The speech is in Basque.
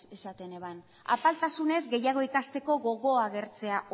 esaten zuen apaltasunez gehiago ikasteko gogoa agertzea